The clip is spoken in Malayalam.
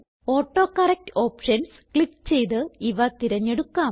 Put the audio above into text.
ഓട്ടോകറക്ട് ഓപ്ഷൻസ് ക്ലിക്ക് ചെയ്ത് ഇവ തിരഞ്ഞെടുക്കാം